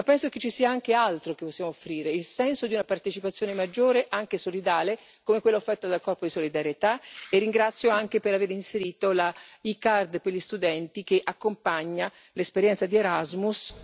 Ma penso che ci sia anche altro che possiamo offrire il senso di una partecipazione maggiore, anche solidale, come quella offerta dal corpo di solidarietà, e ringrazio anche per aver inserito la e card per gli studenti che accompagna l'esperienza di Erasmus...